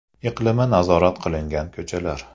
Iqlimi nazorat qilingan ko‘chalar.